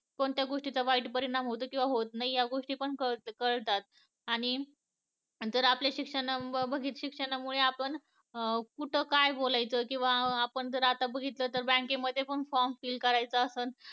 कोणत्या गोष्टी चा वाईट परिणाम होतो आणि परिणाम होत नाही हे पण कळत आणि जर आपले शिक्षण, शिक्षणामुळे आपण कुठं काय बोलायच किंवा आपण जर आता बघितलं तर बँकेमध्ये पण form fill करायचा असेल